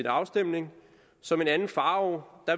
afstemning som en anden farao